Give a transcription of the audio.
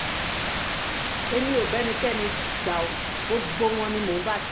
èmi ò bá ẹnikẹ́ni jà ọ́ gbogbo wọn ni mò ń bá ṣe